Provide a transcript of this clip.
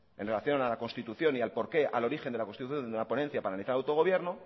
en relación a la constitución y al por qué al origen de la constitución de la ponencia para analizar el autogobierno